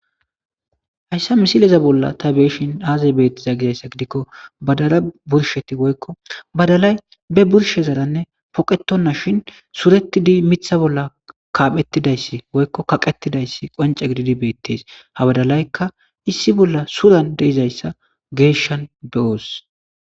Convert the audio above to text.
Haysa misileza bolan ta be'ishin aze betizay gizaysa gidiko badala be burshezarane poqetidi mitha bolan kaphetidaysi woyko kaqetidaysi qonce gidida betes ha badalayka issi bola suran de'izaysa geshan be'os